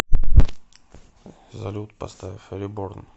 салют поставь реборн